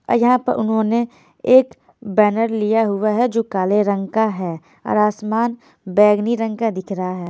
और यहाँ पर उन्होंने एक बैनर लिया हुआ है जो काले रंग का है और आसमान बैगनी रंग का दिख रहा है।